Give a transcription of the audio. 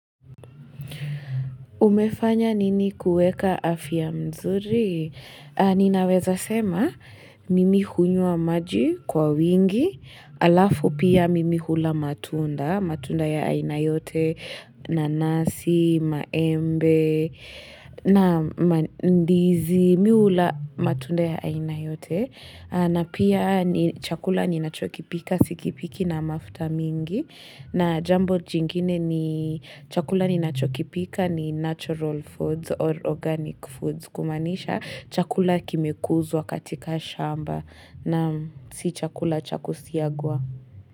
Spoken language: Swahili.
Umefanya nini kueka afya mzuri? Ninaweza sema, mimi hunywa maji kwa wingi, halafu pia mimi hula matundaa. Matunda ya aina yote, nanasi, maembe, na ndizi, mi hula matunda ya aina yote. Na pia chakula ninachokipika, sikipiki na mafuta mingi. Na jambo jingine ni chakula ninachokipika ni natural foods or organic foods. Kumanisha, chakula kimekuzwa katika shamba na si chakula cha kusiagwa.